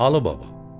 Alı baba.